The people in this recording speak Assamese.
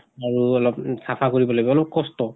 আৰু অলপ উ চাফা কৰিব লাগিব, অলপ কষ্ট।